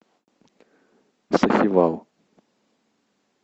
сахивал